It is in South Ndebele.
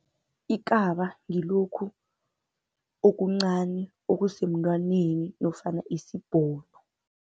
Ikaba ngilokhu okuncani okusemntwaneni nofana isibhono.